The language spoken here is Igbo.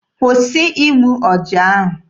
Kwụsị igbu ọja ahụ!